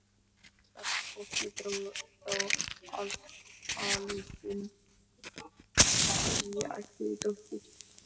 Starfsfólkið dró þá ályktun að ég ætti dóttur.